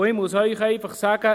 Ich muss Ihnen einfach sagen: